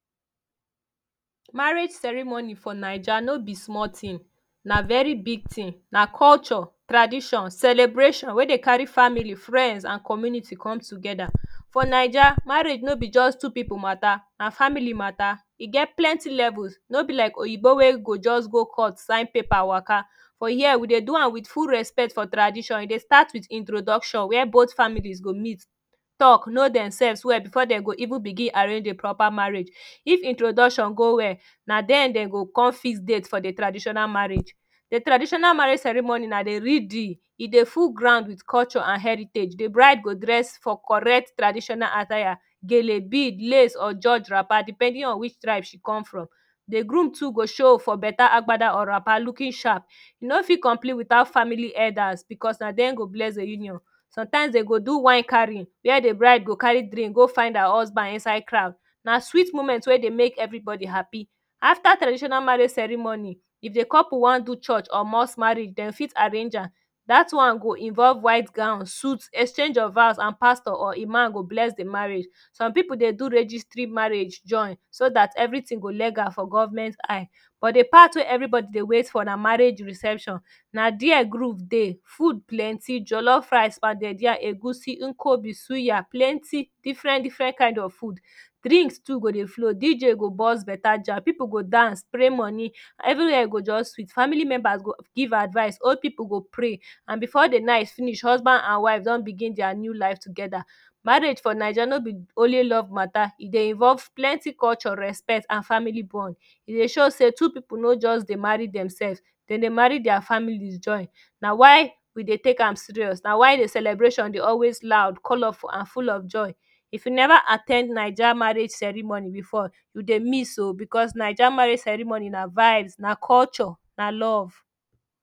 Marriage ceremony for naija no be small tin na very big tin na culture, tradition, celebration wey dey carry family friends and community come togeda For Naija marriage no be just two people mata na family mata e get plenty levels. No be like oyibo wey go just go court sign paper waka fit here we dey do am wit full respect for tradition we dey start wit introduction were bot families go meet talk know demselves well before dem go even begin arrange de proper marriage. If introduction go well na dia dem go come fix date for de traditional marriage de traditional marriage ceremony na de real deal e dey full ground wit culture an heritage de bride go dress for correct traditional attire, gele bead lace or George wrapper depending on wich tribe she comes from de groom too go show for beta agenda or wrapper looking sharp e no fit complete witout family elders because na dem go bless de union sometimes dem go do wan carry wia de bride go carry drink go fine her husband inside crowd na sweet moment wey dey make everybody happy after traditional marriage ceremony if de couple wan do church or mosque marriage dem fit arrange am dat one go involve white gown suite exchange of vows and pastor or imam go bless de marriage some people dey do registry marriage join join so dat everytin go legal for government eye but de part wey everybody dey wait for na marriage reception na dia group dey food plenty jollof rice pounded yam egusin nkwobi suya suya plenty different different kind of food drinks too go dey flow DJ go burst beta jam people go dance spray money everywhere go just sweet family members go give advice old people go pray and before de night finish husband and wife don begin dia new life together Marriage for naija for be only love matter e dey involve plenty culture respect and family bond e dey show say two people no just dey marry demselves dem dey marry dia families join a why we dey take am serious na why de celebration always loud colourful and full of joy if you never at ten d Naija marriage ceremony before you dey miss oo because Naija marriage ceremony na vibes na culture, na love